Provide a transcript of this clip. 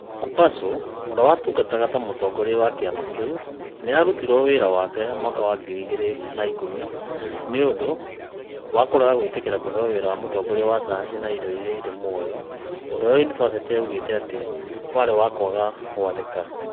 Kubasu, ũrĩa watungataga ta mũtongoria wa kĩama kĩu, nĩ aarutirwo wĩra mwaka wa ngiri igĩrĩ na ik ũmi nĩ ũndũ wa kũrega gwĩtĩkĩra kũheo wĩra wa mũtongoria wa sayansi ya indo iria irĩ muoyo, ũndũ ũrĩa yunibathĩtĩ yoigĩte atĩ warĩ wa kwaga gwathĩka.